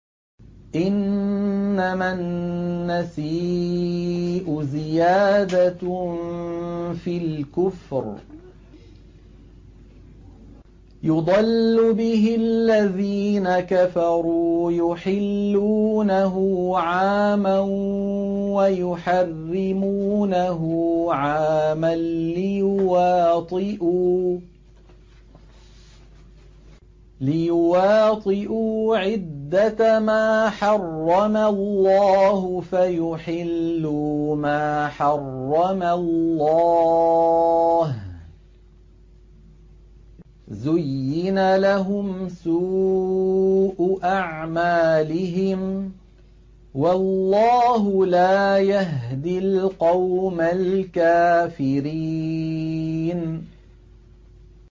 إِنَّمَا النَّسِيءُ زِيَادَةٌ فِي الْكُفْرِ ۖ يُضَلُّ بِهِ الَّذِينَ كَفَرُوا يُحِلُّونَهُ عَامًا وَيُحَرِّمُونَهُ عَامًا لِّيُوَاطِئُوا عِدَّةَ مَا حَرَّمَ اللَّهُ فَيُحِلُّوا مَا حَرَّمَ اللَّهُ ۚ زُيِّنَ لَهُمْ سُوءُ أَعْمَالِهِمْ ۗ وَاللَّهُ لَا يَهْدِي الْقَوْمَ الْكَافِرِينَ